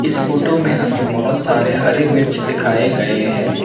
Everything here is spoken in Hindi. इस फोटो में हमें बहुत सारे हरे मिर्च दिखाए गए है।